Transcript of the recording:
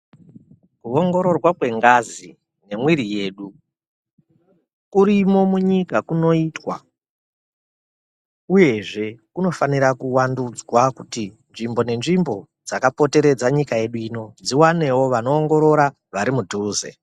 Kuongororwa kwengazi nemwiri yedu, kurimo munyika kunoitwa, uyezve kunofanira kuvandudzwa kuti nzvimbo nenzvimbo dzakapoteredze nyika yedu ino, dziwanewo vanoongorora vari mudhuze.